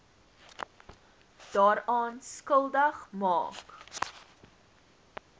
daaraan skuldig maak